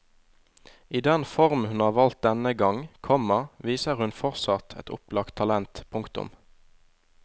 I den form hun har valgt denne gang, komma viser hun fortsatt et opplagt talent. punktum